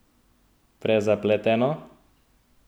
Prezapleteno?